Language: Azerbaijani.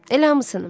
Elə hamısını.